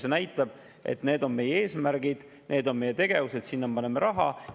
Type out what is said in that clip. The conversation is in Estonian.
See näitab, et need on meie eesmärgid, need on meie tegevused, sinna paneme raha.